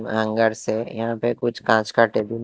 से यहां पे कुछ कांच का टेबुल टेबल --